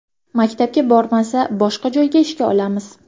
Maktabga bormasa, boshqa joyga ishga olamiz.